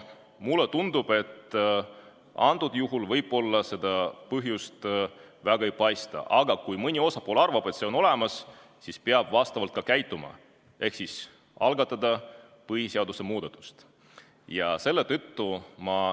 Mulle tundub, et antud juhul võib-olla seda põhjust väga ei paista, aga kui mõni osapool arvab, et see on olemas, siis peab vastavalt ka käituma ehk algatama põhiseaduse muutmise.